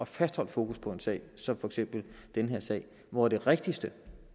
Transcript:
fastholde fokus på en sag som for eksempel den her sag hvor det rigtigste